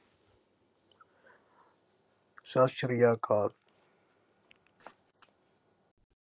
ਸਤ ਸ੍ਰੀ ਅਕਾਲ